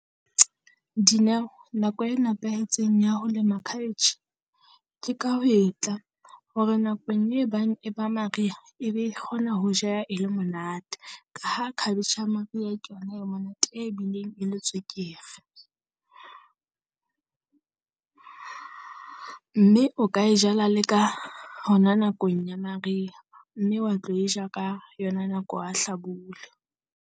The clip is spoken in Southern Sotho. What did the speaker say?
Dineo nako e nepahetseng ya ho lema cabbage ke ka ho e tla, hore nakong e bang ba mariha e be e kgona ho jeha e le monate. Ka ha cabbage ya mariha ke yona e monate e bileng e le tswekere. Mme o ka e jala le ka hona nakong ya mariha, mme wa tlo e ja ka yona nako ya hlabula.